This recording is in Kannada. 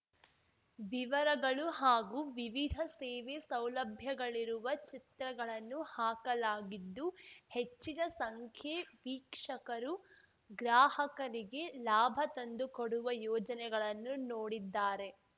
ವಿವರಗಳು ಹಾಗೂ ವಿವಿಧ ಸೇವೆ ಸೌಲಭ್ಯಗಳಿರುವ ಚಿತ್ರಗಳನ್ನು ಹಾಕಲಾಗಿದ್ದು ಹೆಚ್ಚಿನ ಸಂಖ್ಯೆ ವೀಕ್ಷಕರು ಗ್ರಾಹಕರಿಗೆ ಲಾಭ ತಂದು ಕೊಡುವ ಯೋಜನೆಗಳನ್ನು ನೋಡಿದ್ದಾರೆ